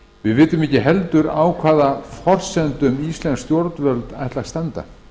við vitum ekki heldur á hvaða forsendum íslensk stjórnvöld ætla að standa